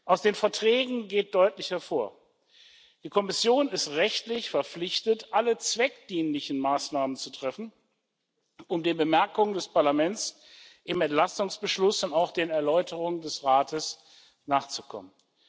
Aus den Verträgen geht deutlich hervor Die Kommission ist rechtlich verpflichtet, alle zweckdienlichen Maßnahmen zu treffen, um den Bemerkungen des Parlaments im Entlastungsbeschluss und auch den Erläuterungen des Rates nachzukommen.